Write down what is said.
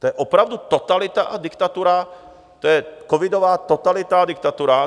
To je opravdu totalita a diktatura, to je covidová totalita a diktatura.